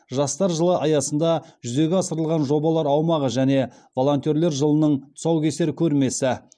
жастар жылы аясында жүзеге асырылған жобалар аумағы және волонтерлер жылының тұсаукесер көрмесі